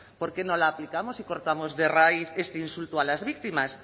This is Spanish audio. por qué no la aplicamos y cortamos de raíz este insulto a las víctimas